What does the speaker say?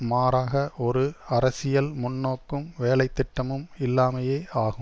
மாறாக ஒரு அரசியல் முன்நோக்கும் வேலைத்திட்டமும் இல்லாமையே ஆகும்